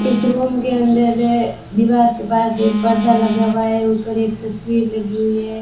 इस रूम के अंदर है दीवार के पास एक पर्दा लगा हुआ है ऊपर एक तस्वीर लगी हुई है।